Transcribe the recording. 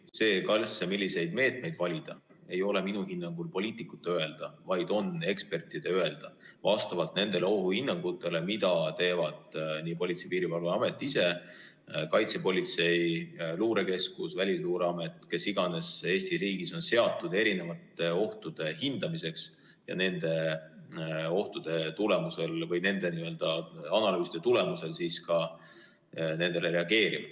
See, milliseid meetmeid valida, ei ole minu hinnangul poliitikute öelda, vaid on ekspertide öelda vastavalt nendele ohuhinnangutele, mida teevad Politsei‑ ja Piirivalveamet ise, kaitsepolitsei, luurekeskus, Välisluureamet – kes iganes Eesti riigis on seatud erinevate ohtude hindamiseks ja kes nende analüüside tulemusel nendele on reageerinud.